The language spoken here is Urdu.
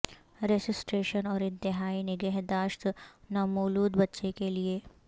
ریسیسیٹیشن اور انتہائی نگہداشت نومولود بچے کے لئے